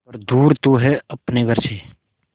पर दूर तू है अपने घर से